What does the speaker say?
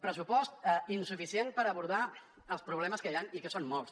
pressupost insuficient per abordar els problemes que hi han i que són molts